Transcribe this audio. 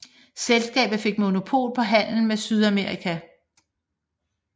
Selskabet fik monopol på handel med Sydamerika